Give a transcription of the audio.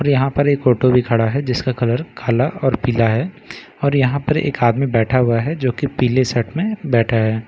और यहां पर एक ऑटो भी खड़ा है जिसका कलर कला और पीला है और यहां पर एक आदमी बैठा हुआ है जो की पीले शर्ट में बैठा है।